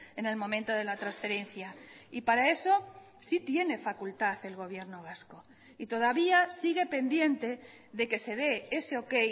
en el momento de la transferencia y para eso sí tiene facultad el gobierno vasco y todavía sigue pendiente de que se dé ese ok